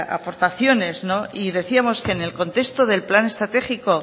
aportaciones y decíamos que en el contexto del plan estratégico